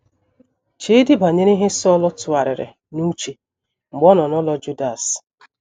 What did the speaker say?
Cheedị banyere ihe Sọl tụgharịrị n’uche mgbe ọ nọ n’ụlọ Judas.